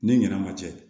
Ni ɲinɛ ma cɛ